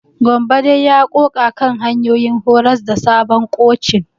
Gambo dai ya ƙoƙa kan hanyoyin horas da sabon kocin.